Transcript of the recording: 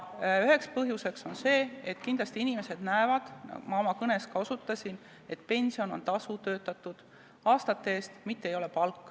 Üks põhjusi on see, et inimesed näevad – ma oma kõnes ka sellele osutasin –, et pension on tasu töötatud aastate eest, mitte palk.